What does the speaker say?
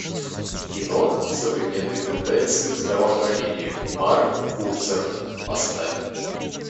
кино современные тенденции в здравоохранении марк курцер поставь